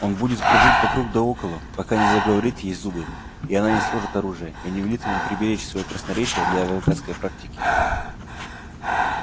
он будет кружить вокруг да около пока не заговорит ей зубы и она не сложит оружия и не велит ему приберечь своё красноречие для адвокатской практики